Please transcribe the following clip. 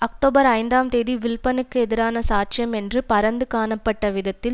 October ஐந்தாம் தேதி வில்ப்பனுக்கு எதிரான சாட்சியம் என்று பரந்து காணப்பட்ட விதத்தில்